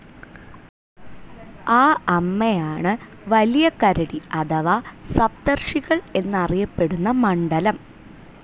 ആ അമ്മയാണ് വലിയ കരടി അഥവാ സപ്തർഷികൾ എന്നറിയപ്പെടുന്ന മണ്ഡലം.